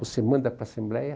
Você manda para a Assembleia.